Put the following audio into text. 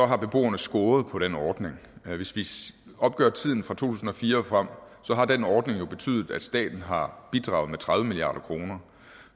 har beboerne scoret på den ordning hvis vi opgør tiden fra to tusind og fire og frem har den ordning jo betydet at staten har bidraget med tredive milliard kroner